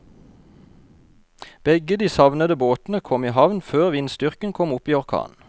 Begge de savnede båtene kom i havn før vindstyrken kom opp i orkan.